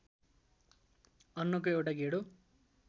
अन्नको एउटा गेडो